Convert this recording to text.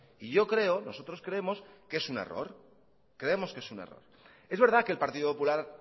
y yo creo nosotros creemos que es un error creemos que es un error es verdad que el partido popular